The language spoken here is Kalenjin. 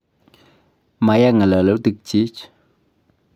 ma ya ng'alalutikchich